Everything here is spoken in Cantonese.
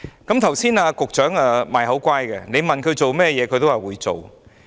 剛才局長"賣口乖"，要他做甚麼也答應會做。